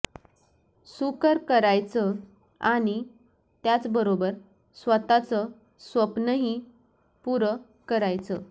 सुकर करायचयं आणि त्याचबरोबर स्वतःच स्वप्न ही पुरं करायचं